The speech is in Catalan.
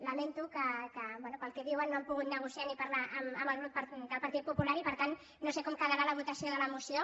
lamento que bé pel que diuen no han pogut negociar ni parlar amb el grup del partit po·pular i per tant no sé com quedarà la votació de la moció